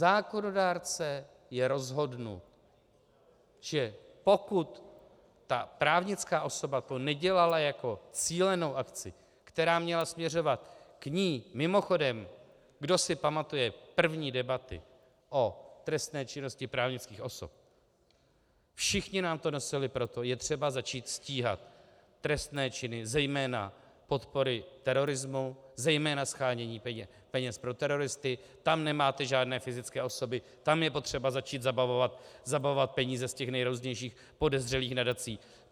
Zákonodárce je rozhodnut, že pokud ta právnická osoba to nedělala jako cílenou akci, která měla směřovat k ní - mimochodem, kdo si pamatuje první debaty o trestné činnosti právnických osob, všichni nám to nosili, proto je třeba začít stíhat trestné činy, zejména podpory terorismu, zejména shánění peněz pro teroristy, tam nemáte žádné fyzické osoby, tam je potřeba začít zabavovat peníze z těch nejrůznějších podezřelých nadací.